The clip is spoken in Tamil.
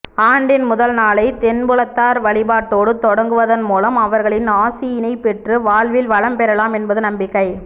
ஆண்டின் முதல்நாளைத் தென்புலத்தார் வழிபாட்டோடு தொடங்குவதன் மூலம் அவர்களின் ஆசியினைப் பெற்று வாழ்வில் வளம் பெறலாம் என்பது நம்பிக்கை